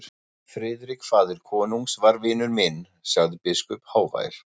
Friðrik faðir konungs var vinur minn, sagði biskup hávær.